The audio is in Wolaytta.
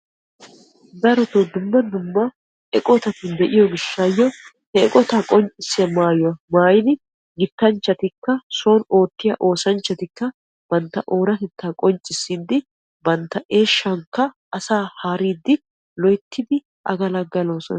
Darotoo dumma dumma eqotati de'iyo gishshayyo he eqqota qonccissiyaa mayuwaa maayidi gitanchchatikka soon oottiya oosanchchiti bantta oonatettta qoncciissidi banttaa eeshshankka asaa haaridi loyttidi agalagaalosona.